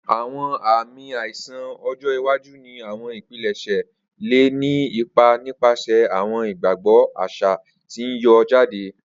Awọn aami aiṣan ọjọ iwaju ni awọn ipilẹṣẹ le ni ipa nipasẹ awọn igbagbọ aṣa ti n yọ jade.